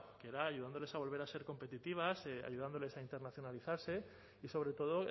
que era ayudándoles a volver a ser competitivas ayudándoles a internacionalizarse y sobretodo